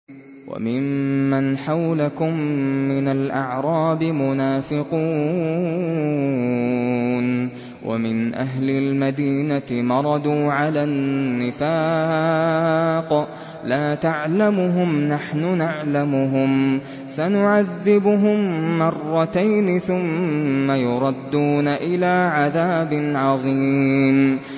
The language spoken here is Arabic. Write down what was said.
وَمِمَّنْ حَوْلَكُم مِّنَ الْأَعْرَابِ مُنَافِقُونَ ۖ وَمِنْ أَهْلِ الْمَدِينَةِ ۖ مَرَدُوا عَلَى النِّفَاقِ لَا تَعْلَمُهُمْ ۖ نَحْنُ نَعْلَمُهُمْ ۚ سَنُعَذِّبُهُم مَّرَّتَيْنِ ثُمَّ يُرَدُّونَ إِلَىٰ عَذَابٍ عَظِيمٍ